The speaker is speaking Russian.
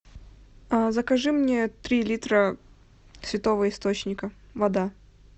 закажи мне три литра святого источника вода